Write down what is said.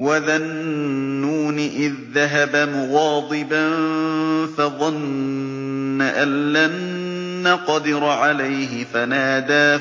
وَذَا النُّونِ إِذ ذَّهَبَ مُغَاضِبًا فَظَنَّ أَن لَّن نَّقْدِرَ عَلَيْهِ فَنَادَىٰ